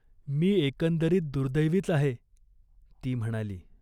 "मी एकंदरीत दुर्दैवीच आहे !" ती म्हणाली.